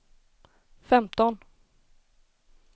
femton